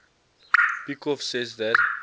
peikoff says that